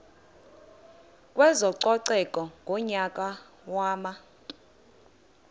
kwezococeko ngonyaka wama